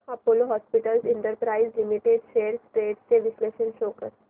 Apollo hospitals enterprise limited shares trends चे विश्लेषण show कर